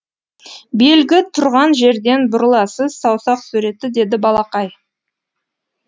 белгі тұрған жерден бұрыласыз саусақ суреті деді балақай